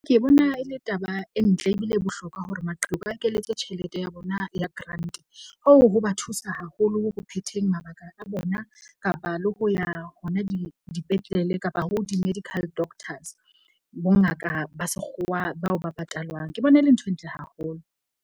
Ke bona e le taba e ntle ebile e bohlokwa hore maqheku a ekeletswe tjhelete ya bona ya grant. Oo ho ba thusa haholo ho phetheng mabaka a bona kapa le ho ya hona dipetlele kapa ho di-medical doctors. Bongaka ba sekgowa bao ba patalwang ke bona e le nthwe ntle haholo.